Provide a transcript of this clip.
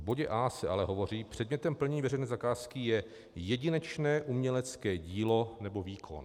V bodě a) se ale hovoří: předmětem plnění veřejné zakázky je jedinečné umělecké dílo nebo výkon.